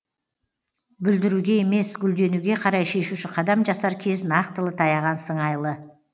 бүлдіруге емес гүлденуге қарай шешуші қадам жасар кез нақтылы таяған сыңайлы